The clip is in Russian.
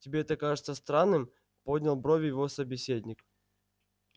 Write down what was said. тебе это кажется странным поднял брови его собеседник